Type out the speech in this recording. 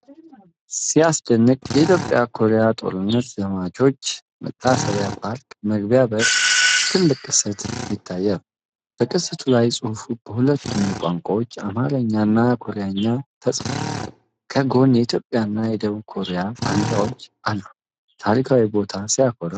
ሲያስደንቅ! የኢትዮጵያ ኮሪያ ጦርነት ዘማቾች መታሰቢያ ፓርክ መግቢያ በር ላይ ትልቅ ቅስት ይታያል። በቅስቱ ላይ ጽሑፉ በሁለቱም ቋንቋዎች (አማርኛ እና ኮሪያኛ) ተጽፏል። ከጎን የኢትዮጵያና የደቡብ ኮሪያ ባንዲራዎች አሉ። ታሪካዊ ቦታ ሲያኮራ! ሲያስደስት!